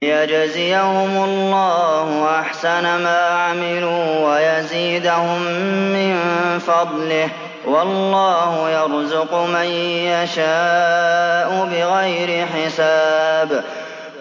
لِيَجْزِيَهُمُ اللَّهُ أَحْسَنَ مَا عَمِلُوا وَيَزِيدَهُم مِّن فَضْلِهِ ۗ وَاللَّهُ يَرْزُقُ مَن يَشَاءُ بِغَيْرِ حِسَابٍ